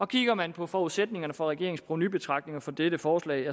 kigger man på forudsætningerne for regeringens provenubetragtninger for dette forslag